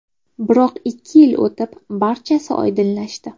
Biroq ikki yil o‘tib, barchasi oydinlashdi.